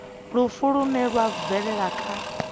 lufu lune lwa bvelela kha